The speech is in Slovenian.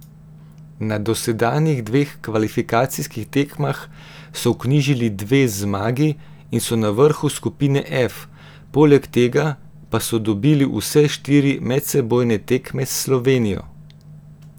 Na dosedanjih dveh kvalifikacijskih tekmah so vknjižili dve zmagi in so na vrhu skupine F, poleg tega pa so dobili vse štiri medsebojne tekme s Slovenijo.